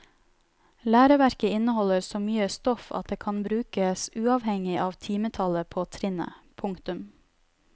Læreverket inneholder så mye stoff at det kan brukes uavhengig av timetallet på trinnet. punktum